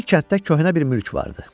Bir kənddə köhnə bir mülk vardı.